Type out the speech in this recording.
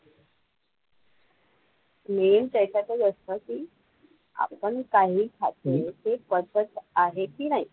Main त्याच्यातच असतं की आपण काहीही खातो ते पचत आहे की नाही,